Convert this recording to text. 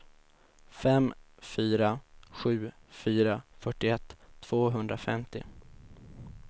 fem fyra sju fyra fyrtioett tvåhundrafemtio